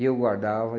E eu guardava.